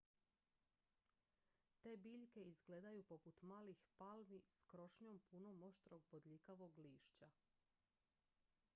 te biljke izgledaju poput malih palmi s krošnjom punom oštrog bodljikavog lišća